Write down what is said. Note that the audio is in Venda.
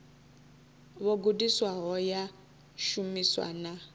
vho gudisiwaho ya shumiswa na